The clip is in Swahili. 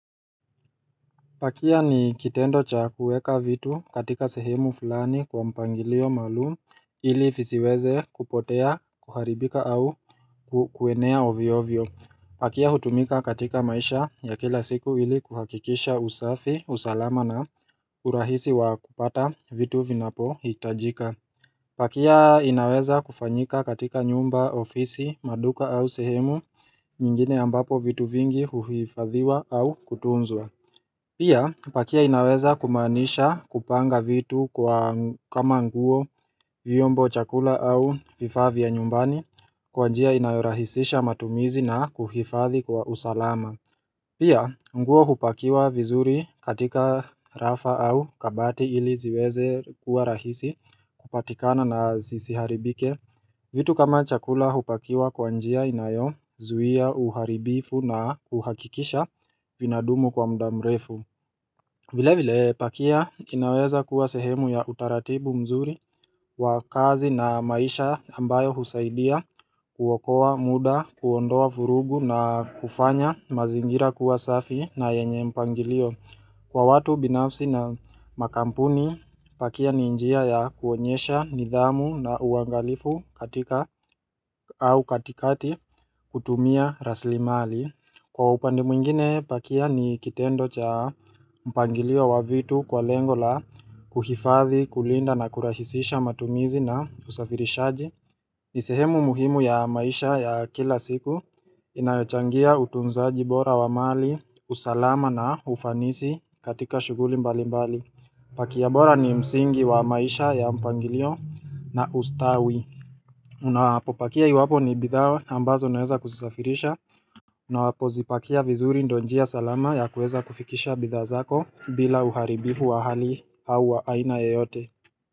Pakia ni kitendo cha kuweka vitu katika sehemu fulani kwa mpangilio maalum ili visiweze kupotea kuharibika au kuenea ovyovyo Pakia hutumika katika maisha ya kila siku ili kuhakikisha usafi usalama na urahisi wa kupata vitu vinapo hitajika Pakia inaweza kufanyika katika nyumba ofisi maduka au sehemu nyingine ambapo vitu vingi huhifadhiwa au kutunzwa Pia pakia inaweza kumaanisha kupanga vitu kwa kama nguo vyombo chakula au vifaa vya nyumbani kwa njia inayorahisisha matumizi na kuhifathi kwa usalama Pia nguo hupakiwa vizuri katika rafa au kabati ili ziweze kuwa rahisi kupatikana na zisiharibike vitu kama chakula hupakiwa kwa njia inayo zuhia uharibifu na uhakikisha vinadumu kwa mda mrefu vile vile pakia inaweza kuwa sehemu ya utaratibu mzuri wa kazi na maisha ambayo husaidia kuokoa muda kuondoa vurugu na kufanya mazingira kuwasafi na yenye mpangilio Kwa watu binafsi na makampuni pakia ni njia ya kuonyesha nidhamu na uangalifu katika au katikati kutumia rasli mali. Kwa upande mwingine pakia ni kitendo cha mpangilio wa vitu kwa lengo la kuhifathi kulinda na kurahisisha matumizi na usafirishaji. Nisehemu muhimu ya maisha ya kila siku inayochangia utunzaji bora wa mali, usalama na ufanisi katika shughuli mbali mbali Pakia bora ni msingi wa maisha ya mpangilio na ustawi Unapo pakia iwapo ni bidhaa ambazo unaweza kuzisafirisha Unapo zipakia vizuri ndio njia salama ya kueza kufikisha bidhaa zako bila uharibifu wa hali au wa aina yeyote.